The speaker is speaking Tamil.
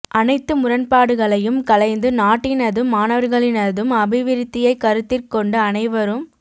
அனைத்து முரண்பாடுகளையும் களைந்து நாட்டினதும் மாணவர்களினதும் அபிவிருத்தியை கருத்திற் கொண்டு அனைவரும்